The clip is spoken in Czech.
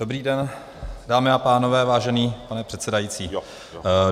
Dobrý den, dámy a pánové, vážený pane předsedající.